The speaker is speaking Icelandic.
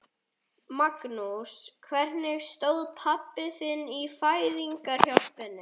Magnús: Hvernig stóð pabbi sig í fæðingarhjálpinni?